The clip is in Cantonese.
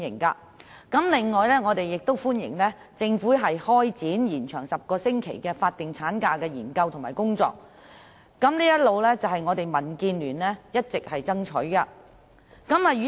此外，我們亦歡迎政府開展把10星期法定產假延長的有關研究和工作，這些都是民建聯一直所爭取的。